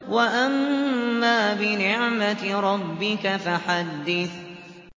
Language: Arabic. وَأَمَّا بِنِعْمَةِ رَبِّكَ فَحَدِّثْ